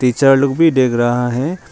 Teacher लोग भी देख रहा है।